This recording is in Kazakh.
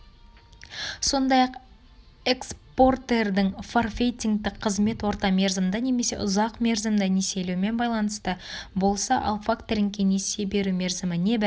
сондай-ақ экспортердің форфейтингтік қызмет орта мерзімді немесе ұзақ мерзімді несиелеумен байланысты болса ал факторингке несие беру мерзімі небәрі